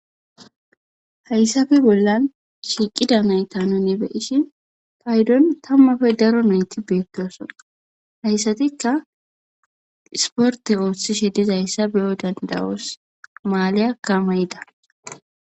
Hayssafe bollan shiiqida nayta nuni be7ishin paydon tammafe daro nayti beettoosona. Hayssatikka isporte oothishe dizayssa beyo danda7oos. Maaliyakka mayida.